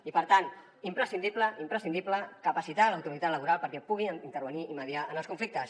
i per tant imprescindible imprescindible capacitar l’autoritat laboral perquè pugui intervenir i mediar en els conflictes